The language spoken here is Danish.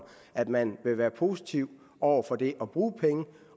at man vil være positiv over for det at bruge penge